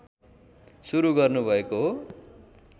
सुरु गर्नुभएको हो